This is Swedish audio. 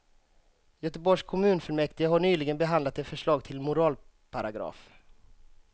Göteborgs kommunfullmäktige har nyligen behandlat ett förslag till moralparagraf.